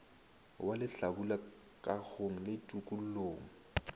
wa lehlabula kagong le tokollong